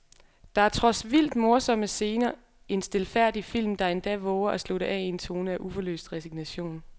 Der er trods vildt morsomme scener en stilfærdig film, der endda vover at slutte af i en tone af uforløst resignation.